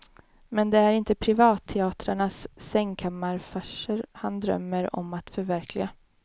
Men det är inte privatteatrarnas sängkammarfarser han drömmer om att förverkliga.